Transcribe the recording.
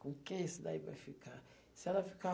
Com quem isso daí vai ficar? Se ela ficar